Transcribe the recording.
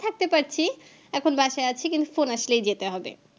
থাকতে পারছি এখন আছি কিন্তু Phone আসলেই যেতে হবে